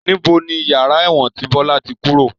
Níbo ni yàrá ẹ̀wọ̀n tí Bọlá tí kúrò?